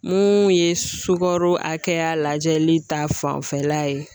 Mun ye sukaro hakɛya lajɛli ta fanfɛla ye